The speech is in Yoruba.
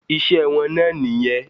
Iṣẹ́ wọn náà nìyẹn.